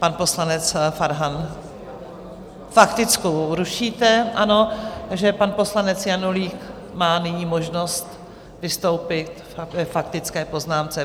Pan poslanec Farhan - faktickou rušíte, ano, takže pan poslanec Janulík má nyní možnost vystoupit k faktické poznámce.